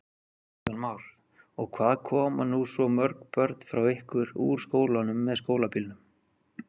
Kristján Már: Og hvað koma nú svo mörg börn frá ykkur úr skólanum með skólabílnum?